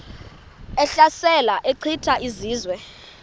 ehlasela echitha izizwe